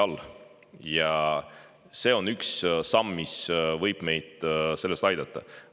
See on üks samm, mis võib meid selles aidata.